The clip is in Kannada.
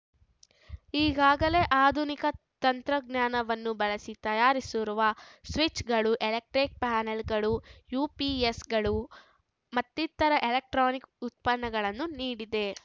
ಈಗಾಗಲೇ ಆಧುನಿಕ ತಂತ್ರಜ್ಞಾನವನ್ನು ಬಳಸಿ ತಯಾರಿಸಿರುವ ಸ್ವಿಚ್‌ಗಳು ಎಲೆಕ್ಟ್ರಿಕ್‌ ಪ್ಯಾನೆಲ್‌ಗಳು ಯುಪಿಎಸ್‌ಗಳು ಮತ್ತಿತರ ಎಲೆಕ್ಟ್ರಾನಿಕ್‌ ಉತ್ಪನ್ನಗಳನ್ನು ನೀಡಿದೆ